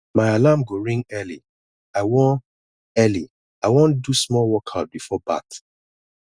my alarm go ring early i wan early i wan do small workout before bath